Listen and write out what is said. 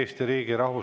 Vladimir Arhipov, palun!